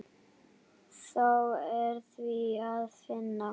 Þá er víða að finna.